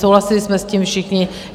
Souhlasili jsme s tím všichni.